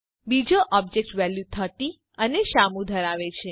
બીજો object value ૩૦ અને શ્યામુ ધરાવે છે